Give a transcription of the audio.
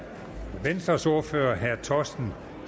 venstres ordfører herre torsten